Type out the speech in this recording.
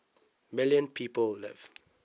million people live